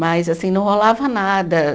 Mas, assim, não rolava nada.